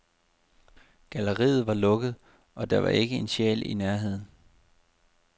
Galleriet var lukket, og der var ikke en sjæl i nærheden.